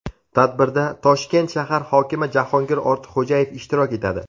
Tadbirda Toshkent shahar hokimi Jahongir Ortiqxo‘jayev ishtirok etadi.